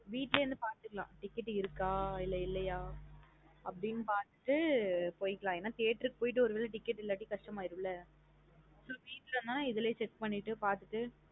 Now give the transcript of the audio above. வீடல இருந்து பாத்துக்கலாம் ticket இருக்க இல்ல இல்லையா? அப்டின்னு பாத்துட்டு போய்காலம் என்ன theatre போயிட்டு ஒருவேள ticket இல்லாட்டி கஷ்டம்ஆயரும்ல. வீட்டுள்ளன இதுலையே check பண்ணிட்டு பாத்துட்டு